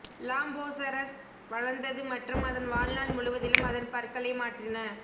Lambeosaurus வளர்ந்தது மற்றும் அதன் வாழ்நாள் முழுவதிலும் அதன் பற்களை மாற்றின